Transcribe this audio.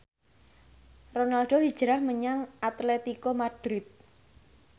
Ronaldo hijrah menyang Atletico Madrid